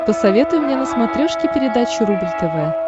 посоветуй мне на смотрешке передачу рубль тв